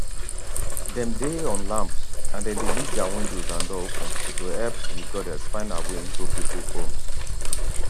dem dey on lamps and dem dey leave dia windows and doors open to help di goddess find her way into pipo homes